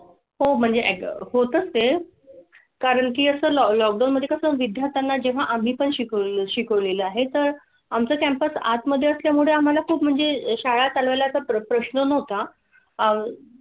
हो म्हणजे होत असते. कारण की असं लॉकडाऊन मध्ये कसं? विद्यार्थ्यांना जेव्हा आम्ही पण शाळा आहे तर आम चा कॅम्पस आत मध्ये असल्यामुळे आम्हाला खूप म्हणजे शाळा चालवायला प्रश्न होता आह.